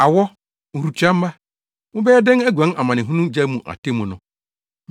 “Awɔ! Nhurutoa mma! Mobɛyɛ dɛn aguan amanehunu gya mu atemmu no?